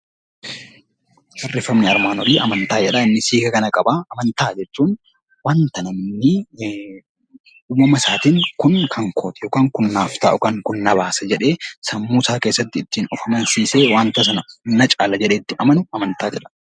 Amantaa jechuun wanta namni uumama isaatiin Kun kan kooti kun naaf ta'a yookiin na baasa jedhee Sammuu isaa keessatti of amansiisee wanta sana na caala jedhee itti amanu amantaa jedhama